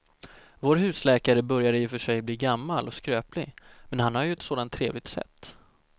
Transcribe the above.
Vår husläkare börjar i och för sig bli gammal och skröplig, men han har ju ett sådant trevligt sätt!